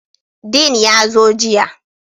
Dean ya zo jiya